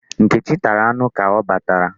Nneka tara anụ ka ọ batara.